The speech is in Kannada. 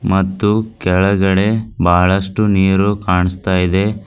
ಮತ್ತು ಕೆಳಗಡೆ ಬಹಳಷ್ಟು ನೀರು ಕಾಣ್ಸ್ತ ಇದೆ.